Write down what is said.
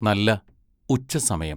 നല്ല ഉച്ച സമയം.